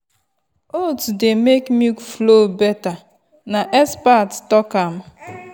oats dey make milk flow better na expert talk am well.